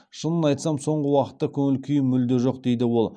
шынын айтсам соңғы уақытта көңіл күйім мүлде жоқ дейді ол